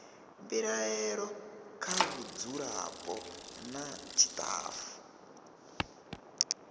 mbilaelo kha vhadzulapo nna tshitafu